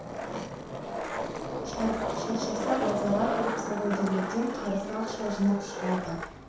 шаршаса базарға кіріп саудагерлерден қарызға ақша жинап шығады